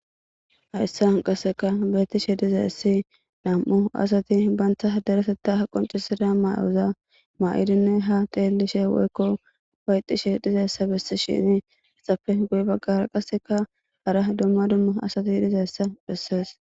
hayssa han qasseka beetishe dizayssi nam7u asati banta dareseta ha qoncisida may7oza ma7idinne ha teelishe woykko upayxishe dizayssa bessi shini ixafe guy baggara qasseka hara dumma dummu asati dhizayssa bessees